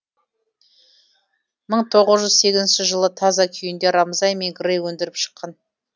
мың тоғыз жүз сегізінші жылы таза күйінде рамзай мен грей өндіріп шыққан